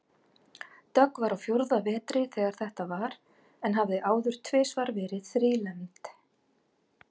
Dögg var á fjórða vetri þegar þetta var en hafði áður tvisvar verið þrílembd.